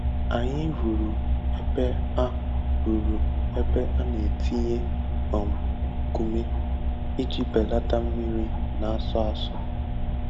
Anyị rụrụ ebe a rụrụ ebe a na-etinye um nkume iji belata mmiri na-asọ asọ.